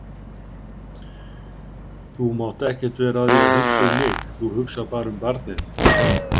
Þú mátt ekkert vera að því að hugsa um mig, þú hugsar bara um barnið.